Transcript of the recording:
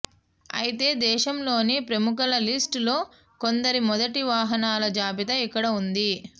అయితే దేశంలోని ప్రముఖుల లిస్ట్ లో కొందరి మొదటి వాహనాల జాబితా ఇక్కడ ఉంది